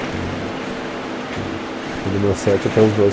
Então, tipo, foi do meu sete até os doze